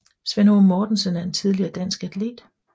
Svend Aage Mortensen er en tidligere dansk atlet